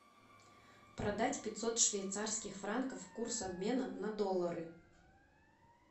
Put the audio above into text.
продать пятьсот швейцарских франков курс обмена на доллары